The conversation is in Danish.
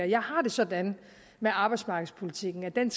jeg har det sådan med arbejdsmarkedspolitikken at den